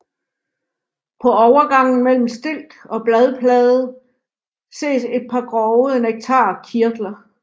På overgangen mellem stilk og bladplade ses et par grove nektarkirtler